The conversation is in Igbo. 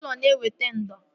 Ụlọ na-eweta ndo